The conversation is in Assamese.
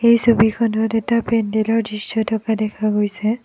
এই ছবিখনত এটা পেণ্ডেলৰ দৃশ্য থকা দেখা গৈছে।